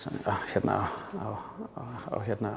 hérna á